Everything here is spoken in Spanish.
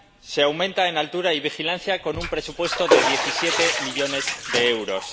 se aumenta en altura y vigilancia con un presupuesto de 17 millones de euros.